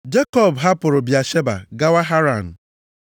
Jekọb hapụrụ Bịasheba gawa Haran.